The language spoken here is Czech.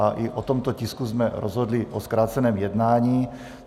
A i o tomto tisku jsme rozhodli o zkráceném jednání.